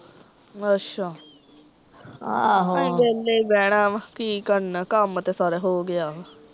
ਅੱਛਾ ਆਹ ਅਸੀਂ ਵੇਹਲੇ ਈ ਬੇਹਣਾ ਵਾਂ ਕੀ ਕਰਨਾ ਕੰਮ ਤਾਂ ਸਾਰਾ ਹੋਗਿਆ ਵਾਂ